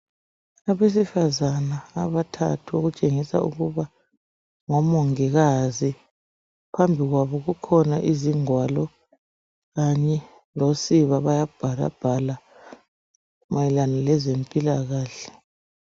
Abesifazana abathathu okutshengisela ukuba ngomongikazi, phambi kwabo kukhona izingwalo kanye losiba, bayabhalabhala mayelana lezempilakahle.